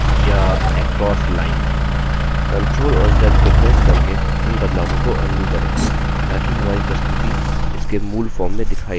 ctrl और z को press करके इन बदलावों को अन्डू करें ताकि हमारी प्रस्तुति इसके मूल form में दिखाई let